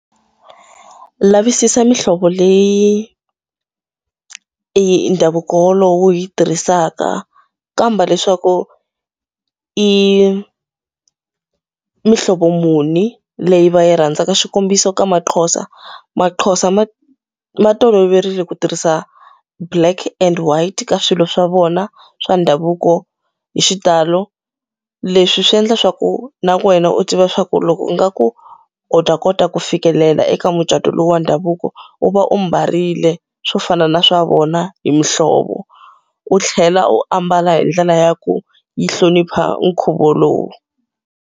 Lavisisa mihlovo leyi ndhavuko wolowo wu yi tirhisaka. Kamba leswaku i mihlovo muni leyi va yi rhandzaka. Xikombiso ka maXhosa, maXhosa ma ma toloverile ku tirhisa black and white ka swilo swa vona swa ndhavuko hi xitalo. Leswi swi endla leswaku na wena u tiva leswaku loko u nga ku u ta kota ku fikelela eka mucato lowu wa ndhavuko, u va u mbarile swo fana na swa vona hi muhlovo. U tlhela u ambala hi ndlela ya ku yi hlonipha nkhuvo lowu.